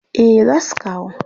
Eh za su kawo.